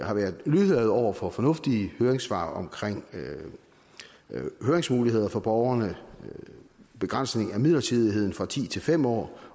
har været lydhørhed over for fornuftige høringssvar om høringsmuligheder for borgerne begrænsning af midlertidigheden fra ti til fem år